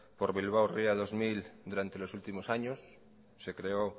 por bilbao ría dos mil durante los últimos años se creó